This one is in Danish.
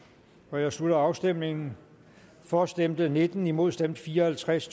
jeg slutter afstemningen for stemte nitten imod stemte fire og halvtreds